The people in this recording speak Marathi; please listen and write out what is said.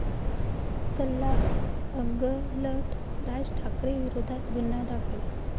सल्ला अंगलट, राज ठाकरेंविरोधात गुन्हा दाखल